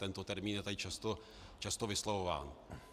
Tento termín je tady často vyslovován.